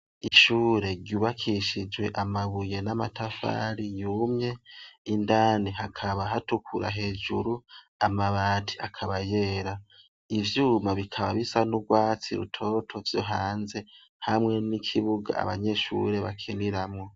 Ishure ryubakishijwe amabuye n'amatafari yumye indani hakaba hatukura hejuru amabati akabayera ivyuma bikaba bisa n'urwatsi rutoto vyo hanze hamwe n'ikibuga abanyeshure bakeniramwo.